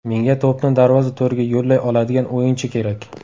Menga to‘pni darvoza to‘riga yo‘llay oladigan o‘yinchi kerak.